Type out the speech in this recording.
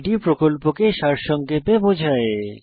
এটি প্রকল্পকে সারসংক্ষেপে বোঝায়